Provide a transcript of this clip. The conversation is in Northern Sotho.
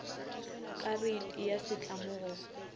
ka reiti ya setlamo go